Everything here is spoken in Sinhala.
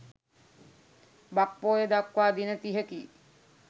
බක් පොහොය දක්වා දින තිහකි.